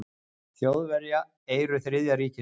Þjóðverja, eyru Þriðja ríkisins.